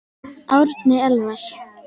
Árni Elvar.